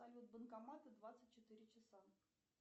салют банкоматы двадцать четыре часа